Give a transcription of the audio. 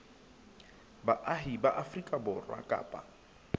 baahi ba afrika borwa kapa